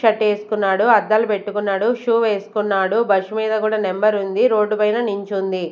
Shirt వేసుకున్నాడు అద్దాలు పెట్టుకున్నాడు షూ వేసుకున్నాడు బస్సు మీద కూడా నెంబర్ ఉంది రోడ్డు మీద నించుంది.